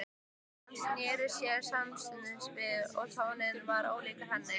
Hann sneri sér samstundis við því tónninn var ólíkur henni.